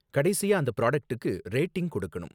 கடைசியா அந்த ப்ராடக்ட்டுக்கு ரேட்டிங் கொடுக்கணும்